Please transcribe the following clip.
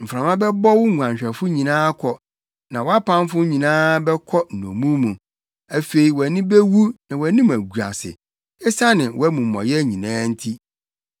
Mframa bɛbɔ wo nguanhwɛfo nyinaa akɔ, na wʼapamfo nyinaa bɛkɔ nnommum mu. Afei wʼani bewu na wʼanim agu ase esiane wʼamumɔyɛ nyinaa nti.